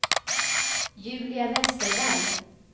Julia Westerberg